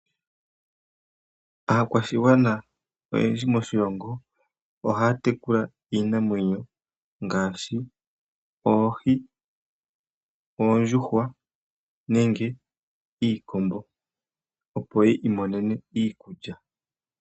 Aakwashigwana oyendji moshilongo oha tekula iinamwenyo ngaashi oohi, oondjuhwa nenge iikombo, opo yi imonene iikulya.